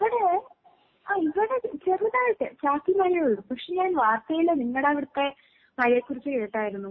ഇവിടെ ആഹ് ഇവിടെ ചെറുതായിട്ട് ചാറ്റൽ മഴയെ ഉള്ളൂ, പക്ഷെ ഞാൻ വാർത്തയില് നിങ്ങടെ അവിടത്തെ മഴയെക്കുറിച്ച് കേട്ടായിരുന്നു.